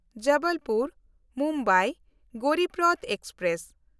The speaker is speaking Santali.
ᱡᱚᱵᱚᱞᱯᱩᱨ–ᱢᱩᱢᱵᱟᱭ ᱜᱚᱨᱤᱵᱨᱚᱛᱷ ᱮᱠᱥᱯᱨᱮᱥ